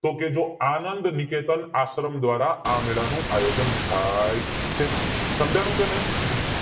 તો કે આનંદ નિકેતન આશ્રમ દ્વારા આ મેળા નું આયોજન થાય છે સમજાણું કે નય